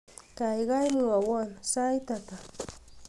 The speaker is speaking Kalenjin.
gaigai mwowon sait ata